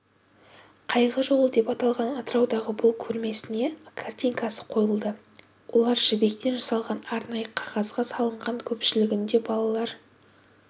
қайғы жолы деп аталған атыраудағы бұл көрмесіне картинасы қойылды оларжібектен жасалған арнайы қағазға салынған көпшілігінде балалар